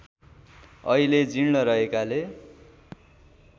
अहिले जीर्ण रहेकाले